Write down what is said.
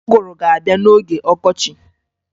Ụgụrụ ga-abịa n'oge ọkọchi